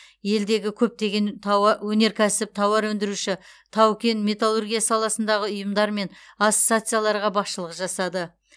елдегі көптеген тауа өнеркәсіп тауар өндіруші тау кен металлургия саласындағы ұйымдар мен ассоциацияларға басшылық жасады